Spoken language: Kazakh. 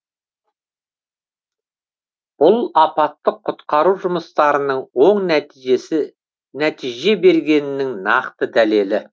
бұл апаттық құтқару жұмыстарының оң нәтиже бергенінің нақты дәлелі